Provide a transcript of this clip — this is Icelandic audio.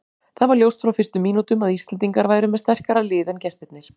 Það var ljóst frá fyrstu mínútum að Íslendingar væru með sterkara lið en gestirnir.